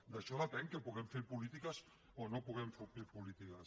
d’això depèn que puguem fer polítiques o no puguem fer polítiques